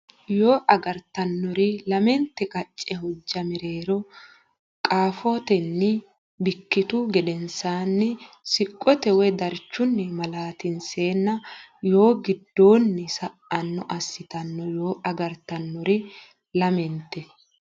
Yoo agartannori lamente qacce hojja mereero qaafotenni bikkitu gedensaanni siqqote woy darchunni malaatinseenna yoo giddoonni sa anno assitanno Yoo agartannori lamente.